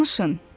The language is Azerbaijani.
Danışın.